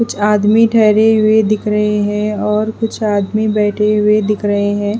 कुछ आदमी ठहरे हुए दिख रहे हैं और कुछ आदमी बैठे हुए दिख रहे हैं।